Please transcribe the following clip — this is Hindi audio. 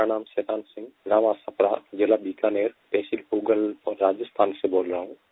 मेरा नाम शैतान सिंह जिलाबीकानेर तहसील पूगल राजस्थान से बोल रहा हूँ